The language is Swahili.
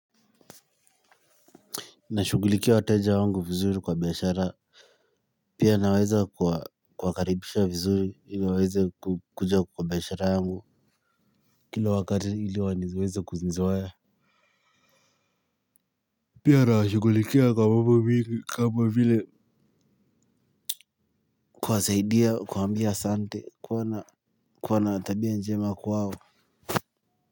Nashughulikia wateja wangu vizuri kwa biashara pia naweza kuwakaribisha vizuri ili waweze kuja kwa biashara yangu kila wakati ili wanizweze kuznizoea pia na shugulikia kwa mbubili kama vile kuasaidia kuwaambia asante kuwa na kuwa na tabia njema kwao.